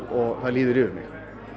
og það líður yfir mig